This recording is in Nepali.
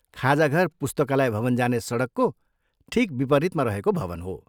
खाजाघर पुस्तकालय भवन जाने सडकको ठिक विपरीतमा रहेको भवन हो।